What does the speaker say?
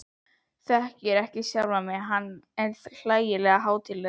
Þekkir ekki sjálfan sig, hann er svo hlægilega hátíðlegur.